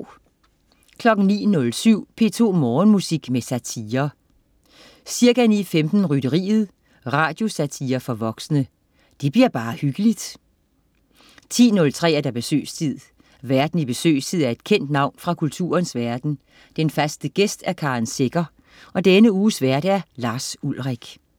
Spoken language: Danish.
09.07 P2 Morgenmusik med satire. Ca. 9.15: Rytteriet. Radiosatire for voksne. Det bliver bare hyggeligt 10.03 Besøgstid. Værten i Besøgstid er et kendt navn fra kulturens verden, den faste gæst er Karen Secher. Denne uges vært: Lars Ulrich